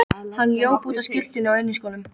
Hann hljóp út á skyrtunni og inniskónum.